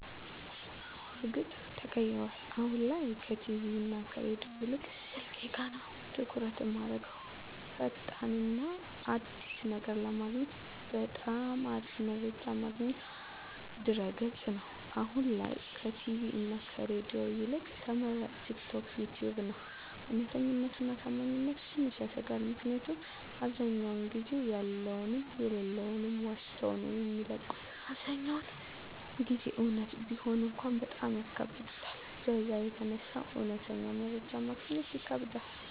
አወ በርግጥ ተቀይሯል አሁን ላይ ከቲቪ እና ከሬዲዮ ይልቅ ስልኬ ጋ ነዉ ትኩረት እማረገዉ። ፈጣን እና አዲስ ነገር ለማግኘት በጣም አሪፍ መረጃ ማግኛ ድረገፅ ነዉ፣ አሁን ላይ ከቲቪ እና ከሬዲዮ ይልቅ ተመራጭ ቲክቶክ፣ ዩተዩብ ነዉ። እዉነተኛነቱ እና ታማኝነቱ ትንሽ ያሰጋል ምክኒያቱም አብዛዉ ጊዜ ያለዉንም የለለዉንም ዋሽተዉ ነዉ የሚለቁት አብዛኛዉን ጊዜ እዉነት ቢሆን እንኳን በጣም ያካብዱታል በዛ የተነሳ እዉነተኛ መረጃ ማግኘት ይከብዳል።